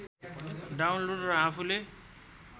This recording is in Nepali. डाउनलोड र आफूले